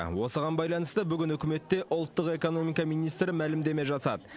осыған байланысты бүгін үкіметте ұлттық экономика министрі мәлімдеме жасады